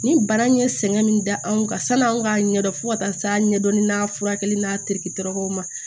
Ni bana ye sɛgɛn min da anw kan sanni an k'a ɲɛdɔn fo ka taa s'a ɲɛdɔn ni a furakɛli n'a terikɛw ma